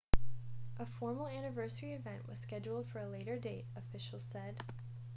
a formal anniversary event was scheduled for a later date officials said